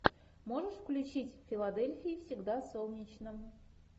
можешь включить в филадельфии всегда солнечно